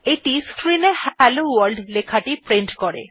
এইটি screen এ hello world লেখাটি print করে